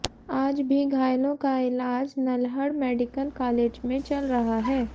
आज भी घायलों का इलाज नल्हड़ मेडिकल कालेज में चल रहा है